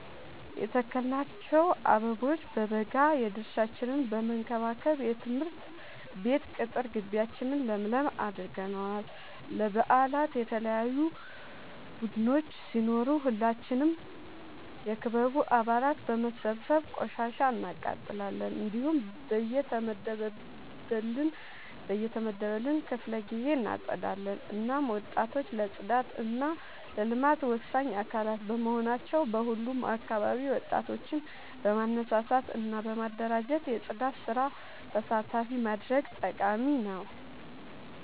የተከልናቸው አበቦ በበጋ የድርሻችን በመከባከብ የትምህርት ቤት ቅጥር ጊቢያችን ለምለም አድርገነዋል። ለበአላት የተለያዩ ቡዳዮች ሲኖሩ ሁላችንም የክበቡ አባላት በመሰብሰብ ቆሻሻ እናቃጥላለን። እንዲሁም በየተመደበልን ክፍለ ጊዜ እናፀዳለን። እናም ወጣቶች ለፅዳት እና ለልማት ወሳኝ አካላት በመሆናቸው በሁሉም አካባቢ ወጣቶችን በማነሳሳት እና በማደራጀት የፅዳት ስራ ተሳታፊ ማድረግ ጠቃሚ ነው።